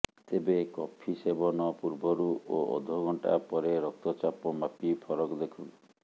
ତେବେ କଫି ସେବନ ପୂର୍ବରୁ ଓ ଅଧ ଘଣ୍ଟା ପରେ ରକ୍ତ ଚାପ ମାପି ଫରକ ଦେଖନ୍ତୁ